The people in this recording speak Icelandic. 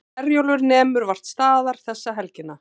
Herjólfur nemur vart staðar þessa helgina